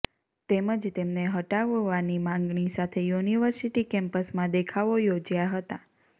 તેમજ તેમને હટાવવાની માંગણી સાથે યુનિવર્સિટી કેમ્પસમાં દેખાવો યોજ્યાં હતા